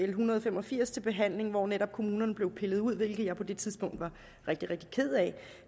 en hundrede og fem og firs til behandling hvor netop kommunerne blev pillet ud hvilket jeg på det tidspunkt var rigtig rigtig ked af